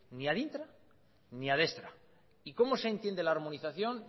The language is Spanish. ni ad intra ni ad extra y cómo se entiende la armonización